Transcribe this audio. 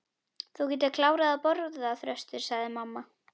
Þú getur nú klárað að borða, Þröstur, sagði mamma.